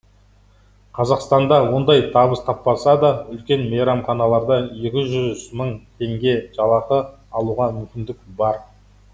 қазақстанда ондай табыс таппаса да үлкен мейрамханаларда екі жүз мың теңге жалақы алуға мүмкіндік бар